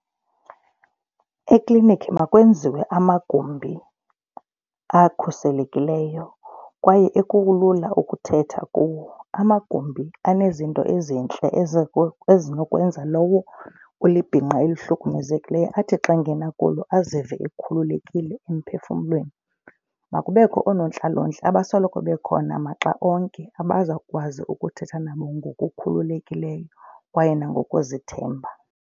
Eklinikhi makwenziwe amagumbi akhuselekileyo kwaye ekulula ukuthetha kuwo. Amagumbi anezinto ezintle ezinokwenza lowo ulibhinqa elihlukumezekileyo athi xa engena kulo azive ekhululekile emphefumlweni. Makubekho oonontlalontle abasoloko bekhona maxa onke abazawukwazi ukuthetha nabo ngokukhululekileyo kwaye nangokuzithemba.